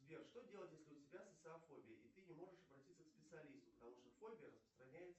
сбер что делать если у тебя социофобия и ты не можешь обратиться к специалисту потому что фобия распространяется